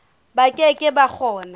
ba ke ke ba kgona